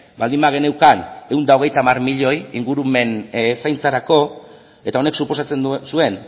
baldin bageneukan ehun eta hogeita hamar milioi ingurumen zaintzarako eta honek suposatzen zuen